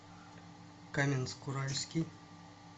каменск уральский